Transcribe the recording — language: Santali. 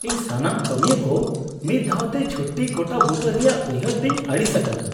ᱤᱧ ᱥᱟᱱᱟᱢ ᱠᱟᱹᱢᱤᱭᱟᱹ ᱠᱚ ᱢᱤᱫ ᱫᱷᱟᱣ ᱛᱮ ᱪᱷᱩᱴᱤ ᱜᱚᱴᱟᱵᱩᱴᱟᱹ ᱨᱮᱭᱟᱜ ᱩᱭᱦᱟᱹᱨ ᱛᱮᱧ ᱟᱹᱲᱤᱥ ᱟᱠᱟᱱᱟ ᱾